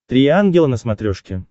три ангела на смотрешке